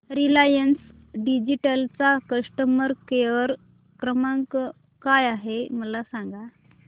Reliance Digital चा customer care क्रमांक काय आहे मला सांगा